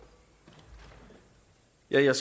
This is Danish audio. jeg er